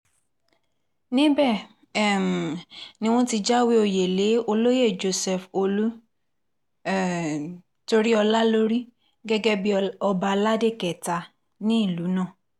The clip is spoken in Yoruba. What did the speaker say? níbẹ̀ um ni wọ́n ti jáwé òye lé olóyè joseph olú um toríọlá lórí gẹ́gẹ́ bíi ọba aládé kẹta nílùú náà